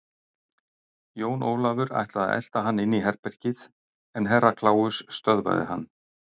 Jón Ólafur ætlaði að elta hann inn í herbergið en Herra Kláus stöðvaði hann.